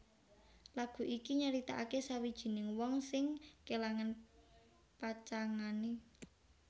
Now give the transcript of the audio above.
Lagu ini nyaritakake sawijining wong sing kelangan pacangané